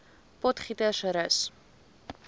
potgietersrus